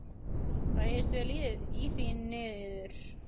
Það heyrðist vel í því niður.